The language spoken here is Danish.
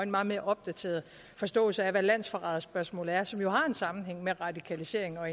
meget mere opdateret forståelse af hvad landsforræderspørgsmålet er som jo også har en sammenhæng med radikalisering og